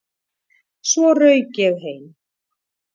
Svo rauk ég heim.